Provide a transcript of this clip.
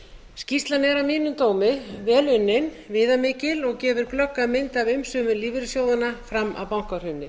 skýrslan er að mínum dómi vel unnin viðamikil og gefur glögga mynd af umsvifum lífeyrissjóðanna fram að bankahruni